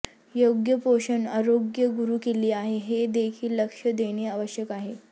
योग्य पोषण आरोग्य गुरुकिल्ली आहे हे देखील लक्ष देणे आवश्यक आहे